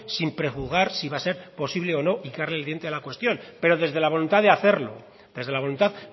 sin prejuzgar si va a ser posible o no hincarle el diente a la cuestión pero desde la voluntad